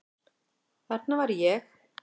Þarna var ég.